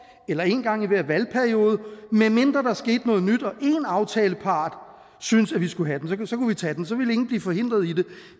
eller en gang i hver valgperiode medmindre der skete noget nyt og en aftalepart syntes at vi skulle have den så kunne vi tage den så ville ingen blive forhindret i det